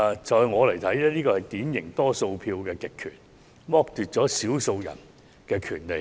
在我看來，這是典型的多數票極權，剝奪了少數人的權利。